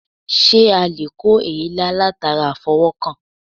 Sé a lè kó èélá latara àfọwó̩kàn?